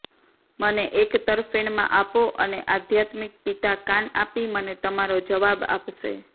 મને એક તરફેણમાં આપો અને આધ્યાત્મિક પિતા કાન આપી મને તમારો જવાબ આપશે